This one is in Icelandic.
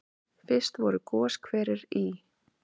Fyrst voru goshverir í